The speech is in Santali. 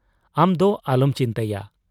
ᱟᱢᱫᱚ ᱟᱞᱚᱢ ᱪᱤᱱᱛᱟᱭᱟ ᱾